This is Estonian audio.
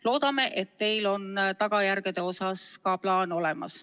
Loodame, et teil on tagajärgede osas ka plaan olemas.